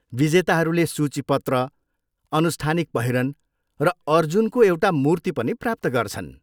विजेताहरूले सूचीपत्र, अनुष्ठानिक पहिरन र अर्जुनको एउटा मूर्ति पनि प्राप्त गर्छन्।